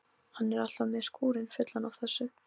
Hann er alltaf með skúrinn fullan af þessu.